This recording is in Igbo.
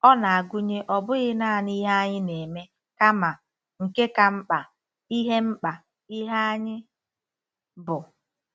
Ọ na-agụnye ọ bụghị nanị ihe anyị na-eme kama, nke ka mkpa, ihe mkpa, ihe anyị bụ.